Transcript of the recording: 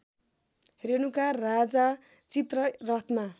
रेणुका राजा चित्ररथमा